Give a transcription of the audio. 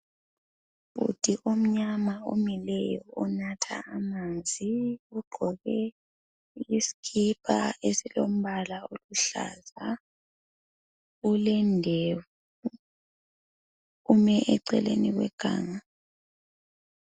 Ubhudi omnyama omileyo onatha amanzi. Ugqoke isikipa esilombala oluhlaza. Ulendevu, ume eceleni kweganga.